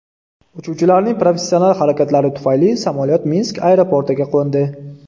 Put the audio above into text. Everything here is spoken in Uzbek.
Uchuvchilarning professional harakatlari tufayli samolyot Minsk aeroportiga qo‘ndi.